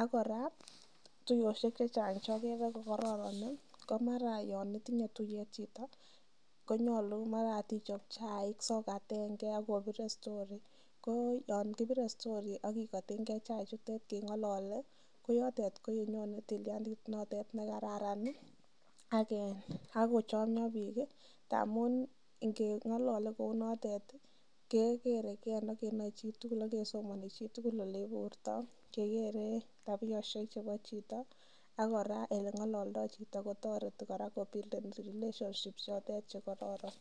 ak kora tuiyosiek chechang che ogere ko koron ko mara yon itinye tuiyet chito konyolu mara ot ichob chaik sokatenge ak obire story ko yon obire story ak kigotenge chaik chutet keng'ollole koyotet ko yenyone tilyandit noto nekaran ak kochomyo biik ngamun ingeng'olole kou notet kegeere ken ak kenoe chitugul ak kesomoni chitugul ole iburto kegere tabiosiek chebo chito ak kora ele ng'ololdo chito kotoreti kora kobuilden relationships chotet che kororon.